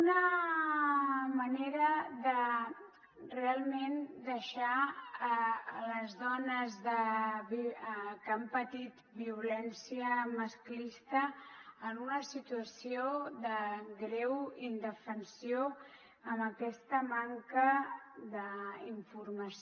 una manera de realment deixar les dones que han patit violència masclista en una situació de greu indefensió amb aquesta manca d’informació